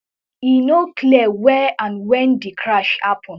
e no clear where and when di crash happen